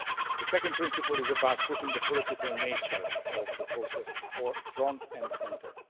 The second principle is about putting the political nature of the process front and centre.